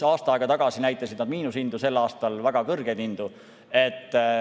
Aasta aega tagasi näitasid nad miinushindu, sel aastal näitavad väga kõrgeid hindu.